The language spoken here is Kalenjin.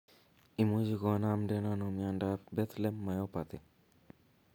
Imuche konamden ano miondap Bethlem myopathy?